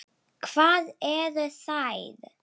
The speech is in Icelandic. Hvar eru þær?